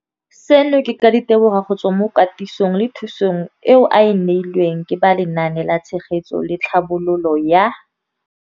Seno ke ka ditebogo go tswa mo katisong le thu song eo a e neilweng ke ba Lenaane la Tshegetso le Tlhabololo ya